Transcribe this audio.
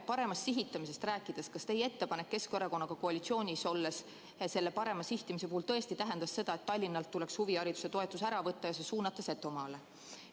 Paremast sihitamisest rääkides: kas teie ettepanek Keskerakonnaga koalitsioonis olles selle parema sihtimise puhul tõesti tähendas seda, et Tallinnalt tuleks huvihariduse toetus ära võtta ja Setomaale suunata?